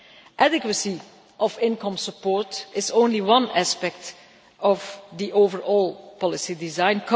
Adequacy of income support is only one aspect of the overall policy design.